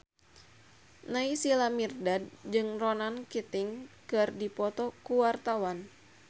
Naysila Mirdad jeung Ronan Keating keur dipoto ku wartawan